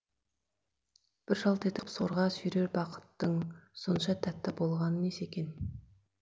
бір жалт етіп сорға сүйрер бақыттың сонша тәтті болғаны несі екен